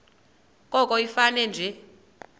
koko ifane nje